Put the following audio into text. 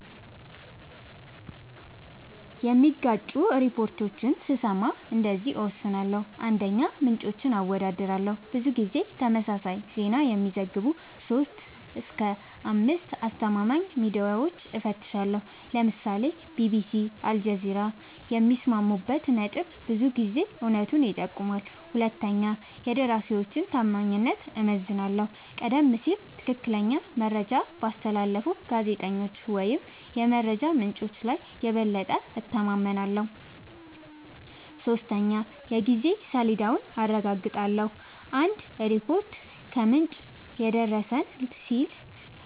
የሚጋጩ ሪፖርቶችን ስሰማ እንደዚህ እወስናለሁ :- 1, ምንጮችን አወዳድራለሁ :-ብዙ ጊዜ ተመሳሳይ ዜና የሚዘግቡ 3-5አስተማማኝ ሚድያወችን እፈትሻለሁ ( ለምሳሌ ቢቢሲ አልጀዚራ )የሚስማሙበት ነጥብ ብዙ ጊዜ እውነቱን ይጠቁማል 2 የደራሲወችን ታማኝነት እመዝናለሁ :-ቀደም ሲል ትክክለኛ መረጃ ባስተላለፉ ጋዜጠኞች ወይም የመረጃ ምንጮች ላይ የበለጠ እተማመናለሁ። 3 የጊዜ ሰሌዳውን አረጋግጣለሁ :- አንድ ሪፖርት "ከምንጭ የደረሰን" ሲል